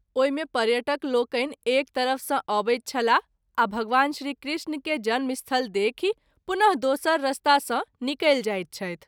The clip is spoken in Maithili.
ओहि मे पर्यटक लोकनि एक तरफ सँ अबैत छलाह आ भगवान श्री कृष्ण के जन्म स्थल देखि पुन: दोसर रास्ता सँ निकलि जाइत छथि।